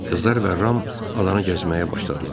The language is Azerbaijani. Qızlar və Ram adanı gəzməyə başladılar.